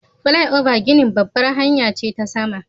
Flyover ginin babbar hanya ce ta sama.